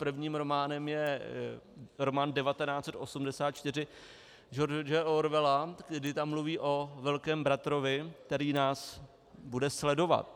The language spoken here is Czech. Prvním románem je román 1984 George Orwella, kdy tam mluví o velkém bratrovi, který nás bude sledovat.